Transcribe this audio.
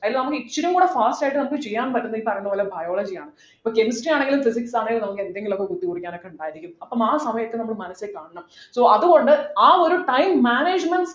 അതിൽ നമ്മക്ക് ഇച്ചിരികൂടി fast ആയിട്ട് നമുക്ക് ചെയ്യാൻ പറ്റുന്ന ഈ പറയുന്ന പോലെ biology യാണ് ഇപ്പൊ chemistry ആണെങ്കിലും physics ആണെങ്കിലും നമുക്ക് എന്തെങ്കിലും ഒക്കെ കുത്തിക്കുറിക്കാനൊക്കെ ഉണ്ടായിരിക്കും അപ്പൊ ആ സമയത്ത് നമ്മള് മനസ്സിൽ കാണണം so അതുകൊണ്ട് ആ ഒരു time managment